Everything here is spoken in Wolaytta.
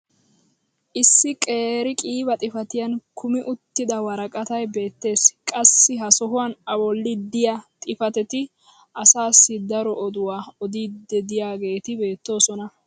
issi qeeri qiiba xifattiyan kummi uttida woraqatay beetees. qassi ha sohuwan a boli diya xifatetti asaasi daro oduwaa odiidi diyaageeti beetoosona.